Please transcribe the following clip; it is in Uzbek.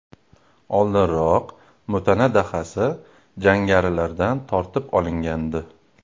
Oldinroq Mutana dahasi jangarilardan tortib olingandi.